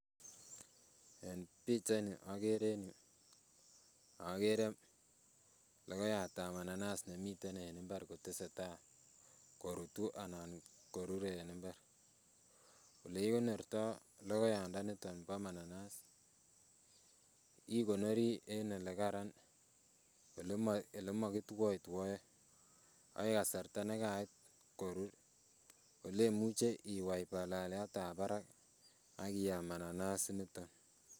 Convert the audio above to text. En pichaini okere en yuu okere lokoyatab mananas nemii en kwenutab imbar koteseta korutu anan koture en imbar, olee kikonorto lokoyandaniton bo mananas, ikonori en elekaran elemo kitwoetwoe akoi kasarta nekait korur olemuche iwai baleliatab barak ak iyam mananas inoton.